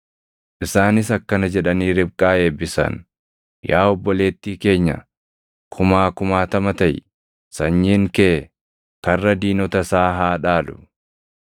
Isaanis akkana jedhanii Ribqaa eebbisan; “Yaa obboleettii keenya, kumaa kumaatama taʼi; sanyiin kee karra diinota isaa haa dhaalu.”